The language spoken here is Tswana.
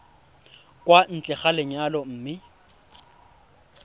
kwa ntle ga lenyalo mme